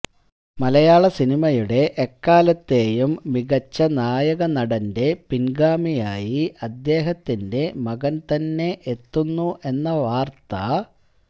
മലയാള സിനിമയുടെ എക്കാലത്തെയും മികച്ച നായ നടന്റെ പിൻഗാമിയായി അദ്ദേഹത്തിന്റെ മകൻ തന്നെ എത്തുന്നു എന്ന വാർത്ത